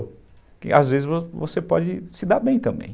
Porque às vezes você pode se dar bem também.